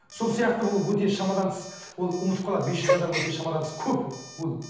сол сияқты ол өте шамадан тыс ол ұмытып қалады бес жүз адам өте шамадан тыс көп ол ол